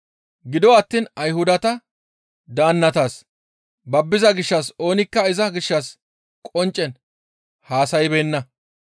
Gido attiin Ayhudata daannatas babbiza gishshas oonikka iza gishshas qonccen haasaybeenna.